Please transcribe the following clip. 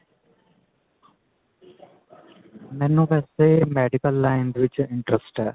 ਮੈਨੂੰ ਵੈਸੇ medical line ਦੇ ਵਿੱਚ interest ਹੈ